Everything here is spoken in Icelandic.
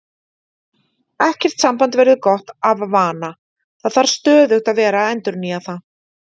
Ekkert samband verður gott af vana, það þarf stöðugt að vera að endurnýja það.